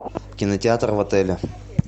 кинотеатр в отеле